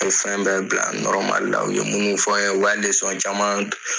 A ye fɛn bɛ bila la. U ye minnu fɔ an ye , o ka caman